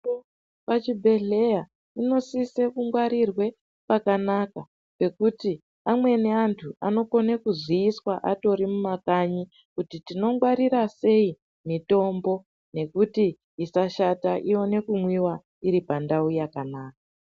Mitombo pachibhedhleya inosise kungwarirwe pakanaka pekuti amweni antu anokone kuziyiswa atori mumakanyi kuti tinongwarira sei mitombo nekuti isashata ione kumwiwa iri pandau yakanaka.